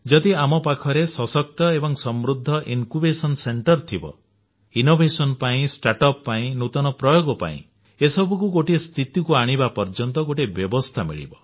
ଯଦି ଆମ ପାଖରେ ସଶକ୍ତ ଓ ସମୃଦ୍ଧି ଜ୍ଞାନାଙ୍କୁର କେନ୍ଦ୍ର ଥିବ ଇନୋଭେସନ ପାଇଁ ଷ୍ଟାର୍ଟ ଅପ୍ ପାଇଁ ନୂତନ ପ୍ରୟୋଗ ପାଇଁ ଏ ସବୁକୁ ଗୋଟିଏ ସ୍ଥିତିକୁ ଆଣିବା ପର୍ଯ୍ୟନ୍ତ ଗୋଟିଏ ବ୍ୟବସ୍ଥା ମିଳିବ